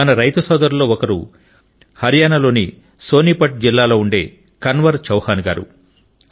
మన రైతు సోదరులలో ఒకరు హర్యానాలోని సోనిపట్ జిల్లాలో ఉండే కన్వర్ చౌహాన్ గారు